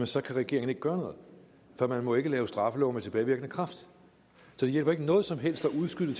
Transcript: så kan regeringen ikke gøre noget for man må ikke lave straffelove med tilbagevirkende kraft så det hjælper ikke noget som helst at udskyde